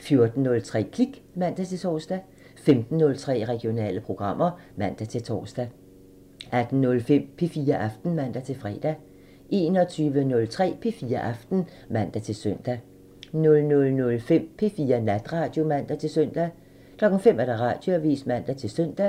14:03: Klik (man-tor) 15:03: Regionale programmer (man-tor) 18:05: P4 Aften (man-fre) 21:03: P4 Aften (man-søn) 00:05: P4 Natradio (man-søn) 05:00: Radioavisen (man-søn)